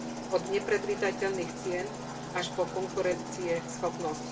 Od nepredvídateľných cien až po konkurencieschopnosť.